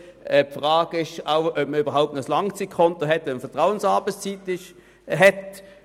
Die Frage ist, ob man überhaupt noch ein Langzeitkonto hat, wenn man mit Vertrauensarbeitszeit arbeitet.